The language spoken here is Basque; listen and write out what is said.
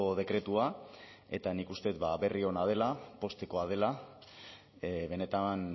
dekretua eta nik uste dut berri ona dela poztekoa dela benetan